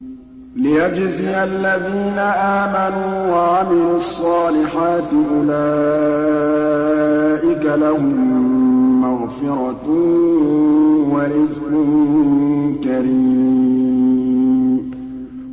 لِّيَجْزِيَ الَّذِينَ آمَنُوا وَعَمِلُوا الصَّالِحَاتِ ۚ أُولَٰئِكَ لَهُم مَّغْفِرَةٌ وَرِزْقٌ كَرِيمٌ